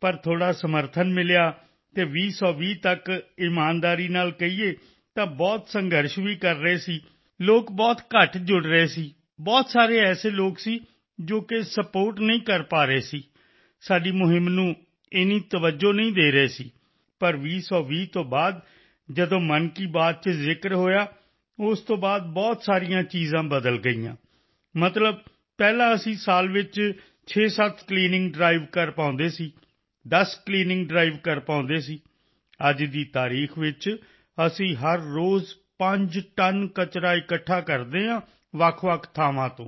ਪਰ ਥੋੜ੍ਹਾ ਸਮਰਥਨ ਸਪੋਰਟ ਮਿਲਿਆ ਅਤੇ 2020 ਤੱਕ ਈਮਾਨਦਾਰੀ ਨਾਲ ਕਹੀਏ ਤਾਂ ਬਹੁਤ ਸੰਘਰਸ਼ ਸਟ੍ਰੱਗਲ ਵੀ ਕਰ ਰਹੇ ਸੀ ਹੋਨੇਸਟਲੀ ਲੋਕ ਬਹੁਤ ਘੱਟ ਜੁੜ ਰਹੇ ਸੀ ਬਹੁਤ ਸਾਰੇ ਅਜਿਹੇ ਲੋਕ ਸਨ ਜੋ ਸਪੋਰਟ ਸਪੋਰਟ ਨਹੀਂ ਕਰ ਪਾ ਰਹੇ ਸੀ ਸਾਡੀ ਮੁਹਿੰਮ ਨੂੰ ਇਨੀ ਤਵਜੋਂ ਨਹੀਂ ਸਨ ਦੇ ਰਹੇ ਪਰ 2020 ਤੋਂ ਬਾਅਦ ਜਦੋਂ ਮਨ ਕੀ ਬਾਤ ਚ ਜ਼ਿਕਰ ਹੋਇਆ ਉਸ ਤੋਂ ਬਾਅਦ ਬਹੁਤ ਸਾਰੀਆਂ ਚੀਜ਼ਾਂ ਬਦਲ ਗਈਆਂ ਮਤਲਬ ਪਹਿਲਾਂ ਅਸੀਂ ਸਾਲ ਵਿੱਚ 67 ਵਾਰ ਕਲੀਨਿੰਗ ਡਰਾਈਵ ਕਲੀਨਿੰਗ ਡ੍ਰਾਈਵ ਕਰ ਪਾਉਂਦੇ ਸੀ 10 ਕਲੀਨਿੰਗ ਡਰਾਈਵ ਕਲੀਨਿੰਗ ਡ੍ਰਾਈਵ ਕਰ ਪਾਉਂਦੇ ਸੀ ਅੱਜ ਦੀ ਤਾਰੀਖ ਵਿੱਚ ਅਸੀਂ ਹਰ ਰੋਜ਼ 5 ਟਨ ਕਚਰਾ ਇਕੱਠਾ ਕਰਦੇ ਹਾਂ ਵੱਖਵੱਖ ਥਾਵਾਂ ਲੋਕੇਸ਼ਨ ਤੋਂ